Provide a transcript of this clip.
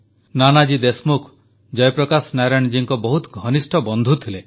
ନାନାଜୀ ଦେଶମୁଖ ଜୟପ୍ରକାଶ ନାରାୟଣ ଜୀଙ୍କ ବହୁତ ଘନିଷ୍ଠ ବନ୍ଧୁ ଥିଲେ